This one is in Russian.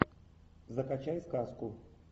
закачай сказку